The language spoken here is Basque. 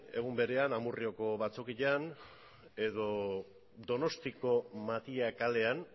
egun berean amurrioko batzokian edo donostiako matia kalean